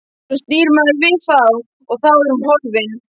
Svo snýr maður við og þá er hún horfin.